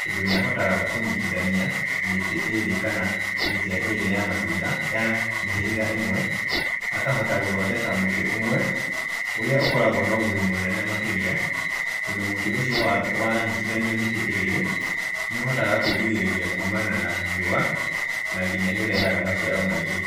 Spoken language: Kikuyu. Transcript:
tondũ nĩ ahotaga kũnyitithania mĩtĩ ĩrĩ kana mĩtĩ ĩrĩ ya matunda ya mĩhĩrĩga ĩmwe, akahota gũthondeka mũtĩ ũmwe, ũrĩa ũkoragwo na ũguni mũnene makĩria, tondũ mũtĩ ũcio wa wanyitithanio mĩtĩ ĩrĩ, nĩ ũhotaga kwĩrigĩrĩria kuumana na riũa na nginya nĩ ũrehaga maciaro maingĩ.